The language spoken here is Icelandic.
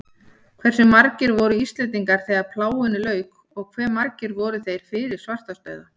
Hversu margir voru Íslendingar þegar plágunni lauk og hve margir voru þeir fyrir svartadauða?